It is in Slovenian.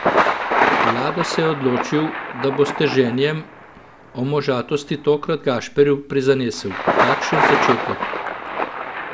Lado se je odločil, da bo s 'teženjem' o možatosti tokrat Gašperju prizanesel: "Kakšen začetek!